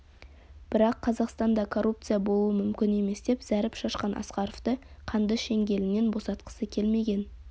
бірақ қазақстанда коррупция болмауы мүмкін емес деп зәріп шашқан асқаровты қанды шеңгелінен босатқысы келмеген